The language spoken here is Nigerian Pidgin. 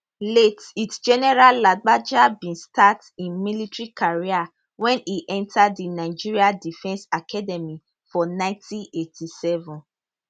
late lt general lagbaja bin start im military career wen e enta di nigerian defence academy for 1987